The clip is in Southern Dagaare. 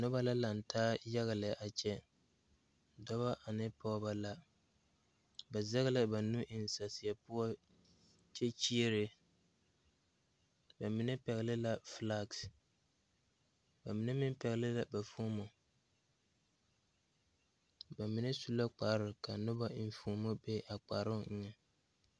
Noba la laŋ taa yaga.lɛ a kyɛ dɔba ane pɔgeba la ba zɛge lla ba nu eŋ saseɛ poɔ kyɛ kyiere ba mine pɛgle la filagi ba mine meŋ pɛgle la ba fomo ba mine su la kpare ka noba enfuomo be a kparoŋ eŋɛ.